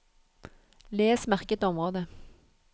Les merket område